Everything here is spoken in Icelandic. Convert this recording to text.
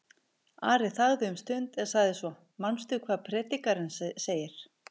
Ari þagði um stund en sagði svo: Manstu hvað Predikarinn segir?